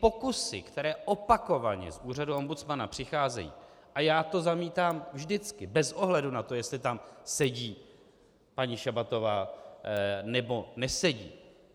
Pokusy, které opakovaně z úřadu ombudsmana přicházejí - a já to zamítám vždycky, bez ohledu na to, jestli tam sedí paní Šabatová, nebo nesedí.